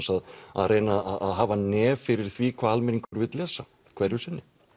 að reyna að hafa nef fyrir því hvað almenningur vill lesa hverju sinni